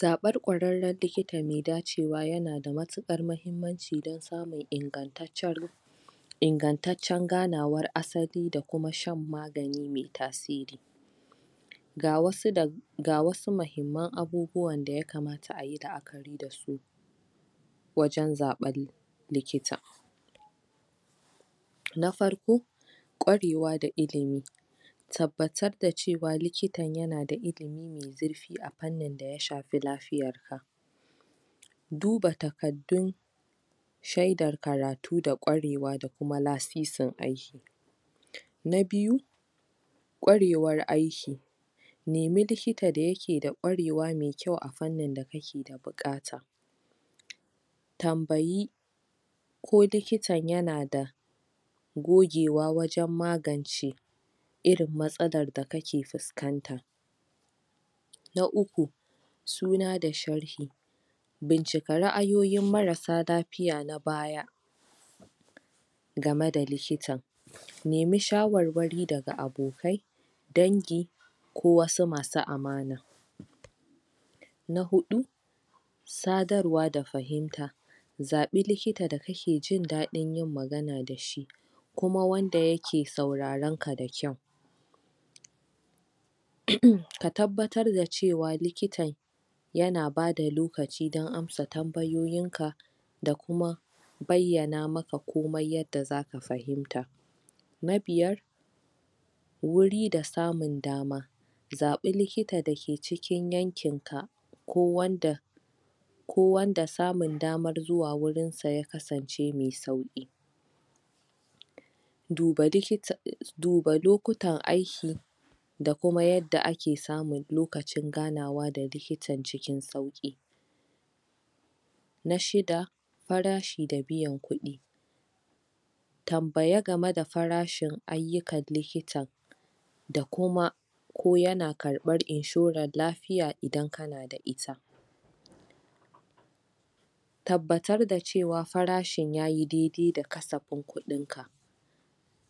zaɓen ƙwararren likita mai dacewa yana da matuƙar mahimmanci don samun ingataccen ingantaccen ganawar asali da kuma shan magani mai tasiri ga wasu ga wasu mahimman abubuwan da yakamata ayi wajen zaɓen likita na farko ƙwarewa da ilimi tabbatar da cewa likitan yana da ilimi zurfi a fannin da ya shafi lafiyar ka duba takardu shaidar karatu d aƙwarewa da kuma lasisin aiki na biyu ƙwarewar aiki nemi likita mai kyau da yake da ƙwarewa mai kyau a fannin da kake da buƙata tambayi ko likitan yana da gogewa wajen magance irin matsalar da kake fuskanta na uku suna da sharhi bincika ra'ayoyin marasa lafiya na baya game da likita nemi shawarwari daga abokai dangi ko wasu masu amana na huɗu sadarwa da fahimta zaɓi likita da kake jindaɗin yin magana da shi kuma wanda yake sauraron ka da kyau ka tabbatar da cewa likitan yana ba da lokaci dan amsa tambayoyin ka da kuma bayyana maka komai yanda zaka fahimta na biyar wuri da samun dama zaɓi likita da ke cikin yankin ka ko wanda ko wanda samun daman zuwa wurin sa ya kasance mai sauƙi duba likita duba lokutan aiki da kuma yanda ake samun lokacin ganawa da likitan cikin sauƙi na shida farashi da biyan kuɗi tambaya game da farashin ayyukan likita da kuma ko yana karɓan inshoran lafiya idan kana da ita tabbatar da cewa farashin yayi daidai da kasafin kuɗin ka